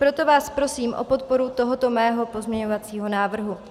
Proto vás prosím o podporu tohoto mého pozměňovacího návrhu.